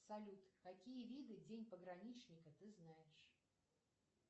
салют какие виды день пограничника ты знаешь